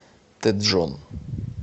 тэджон